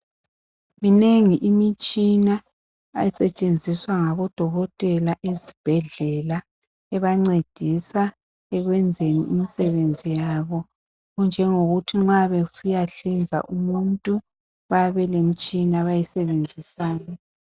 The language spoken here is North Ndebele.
Minengi imitshina esetshenziswa ngabodokotela ezibhedlela ebancedisa skwenzeni imisebenzi yabo okunjengokuthi nxa besiyahlinza umuntu bayabe belemtshina abayisebenzisayo.